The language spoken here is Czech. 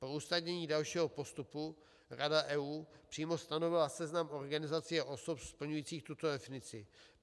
Pro usnadnění dalšího postupu Rada EU přímo stanovila seznam organizací a osob splňujících tuto definici.